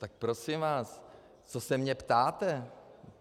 Tak prosím vás, co se mě ptáte?